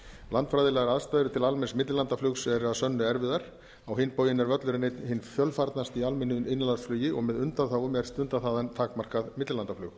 landfræðilegar aðstæður til almenns millilandaflugs eru að sönnu erfiðar á hinn bóginn er völlurinn einn hinn fjölfarnasti í almennu innanlandsflugi og með undanþágum er stundað þaðan takmarkað millilandaflug